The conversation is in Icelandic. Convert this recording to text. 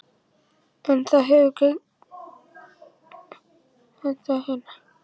Kristinn: En það hefur gengið vel að slökkva þetta hérna?